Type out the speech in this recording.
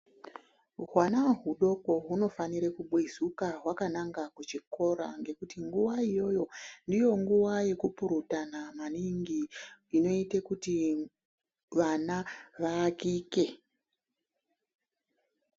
Hwana hudoko hunofana kubwezuka hwakananga kuchikora ngekuti nguwa iyoyo ndiyo nguwa yekupurutana maningi inoita kuti vana varapike.